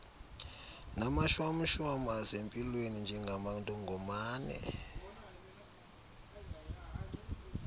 namashwamshwam asempilweni njengamantongomane